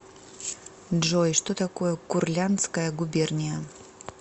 джой что такое курляндская губерния